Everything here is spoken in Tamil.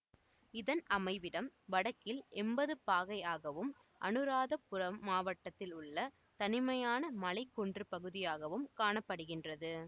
இதன் அமைவிடம் வடக்கில் எம்பது பாகை ஆகவும் அநுராதபுரம் மாவட்டத்தில் உள்ள தனிமையான மலைக்குன்றுப் பகுதியாகவும் காண படுகின்றது